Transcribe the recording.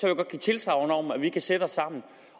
jeg godt give tilsagn om at vi kan sætte os sammen